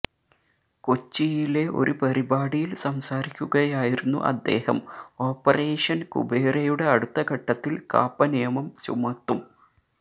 കൊച്ചിയിലെ ഒരു പരിപാടിയില് സംസാരിക്കുകയായിരുന്നു അദ്ദേഹം ഓപ്പറേഷന് കുബേരയുടെ അടുത്തഘട്ടത്തില് കാപ്പ നിയമം ചുമത്തും